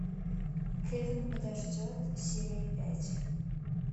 кевин подождет серия пять